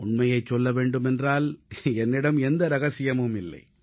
உண்மையைச் சொல்ல வேண்டுமென்றால் என்னிடம் எந்த ரகசியமும் இல்லை